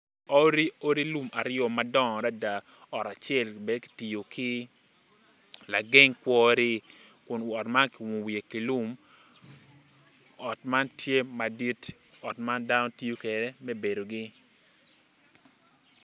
Odi lum aryo ma gidongo adada ot acel ki tiyo ki lageng kwori kun ot lum acel ot man tye madit ot man dano gitoyo kwede me bedogi.